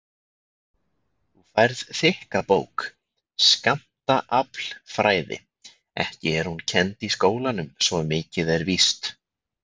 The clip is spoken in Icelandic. Þú færð þykka bók, Skammtaaflfræði, ekki er hún kennd í skólanum svo mikið er víst.